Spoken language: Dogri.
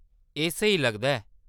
एह्‌‌ स्हेई लगदा ऐ।